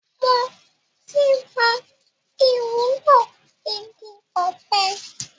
Mo ti mo ìwúlò igi ọpẹ